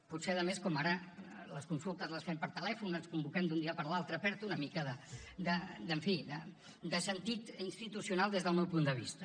potser a més com ara les consultes les fem per telèfon ens convoquem d’un dia per l’altre perd una mica en fi de sentit institucional des del meu punt de vista